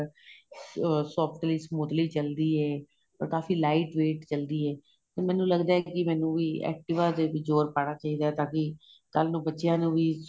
softly smoothly ਚੱਲਦੀ ਏ ਔਰ ਕਾਫ਼ੀ lite wait ਚੱਲਦੀ ਏ ਮੈਨੂੰ ਲੱਗਦਾ ਏ ਮੈਨੂੰ ਵੀ activa ਤੇ ਜ਼ੋਰ ਪਾਣਾ ਚਾਹੀਦਾ ਏ ਤਾਂ ਕੀ ਕੱਲ ਨੂੰ ਬੱਚਿਆਂ ਨੂੰ ਵੀ